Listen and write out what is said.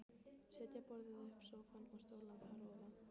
Setja borðið uppá sófann og stólana þar ofaná.